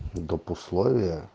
допусловия